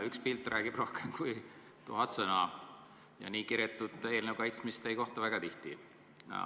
Üks pilt räägib rohkem kui tuhat sõna ja nii kiretut eelnõu kaitsmist ei näe just väga tihti.